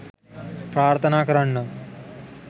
ප්‍රාර්ථනා කරන්නම්.